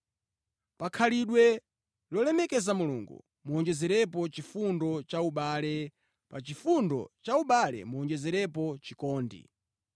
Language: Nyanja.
Pa khalidwe lolemekeza Mulungu muwonjezerepo chifundo cha ubale, pa chifundo cha ubale muwonjezerepo chikondi.